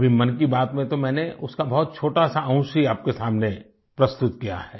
अभी मन की बात में तो मैंने उसका बहुत छोटा सा अंश ही आपके सामने प्रस्तुत किया है